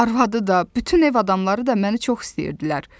Arvadı da, bütün ev adamları da məni çox istəyirdilər.